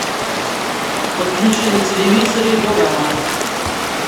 подключи на телевизоре дорама